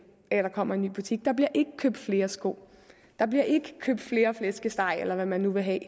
af at der kommer en ny butik der bliver ikke købt flere sko der bliver ikke købt flere flæskestege eller hvad man nu vil have af